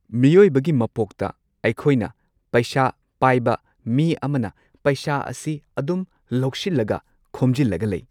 ꯃꯤꯑꯣꯏꯕꯒꯤ ꯃꯄꯣꯛꯇ ꯑꯈꯣꯏꯅ ꯄꯩꯁꯥ ꯄꯥꯏꯕ ꯃꯤ ꯑꯃꯅ ꯄꯩꯁꯥ ꯑꯁꯤ ꯑꯗꯨꯝ ꯂꯧꯁꯤꯜꯂꯒ ꯈꯣꯝꯖꯤꯜꯂꯒ ꯂꯩ꯫